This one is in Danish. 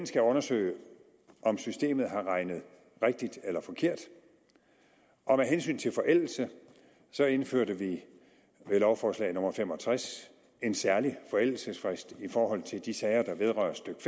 skal undersøge om systemet har regnet rigtigt eller forkert og med hensyn til forældelse indførte vi med lovforslag nummer l fem og tres en særlig forældelsesfrist i forhold til de sager der vedrører stykke